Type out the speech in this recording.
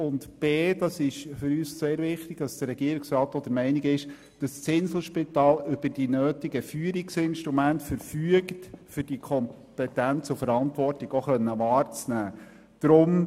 Zudem ist es für uns sehr wichtig, dass der Regierungsrat der Meinung ist, das Inselspital verfüge über die nötigen Führungsinstrumente, um diese Kompetenz und diese Verantwortung auch wahrnehmen zu können.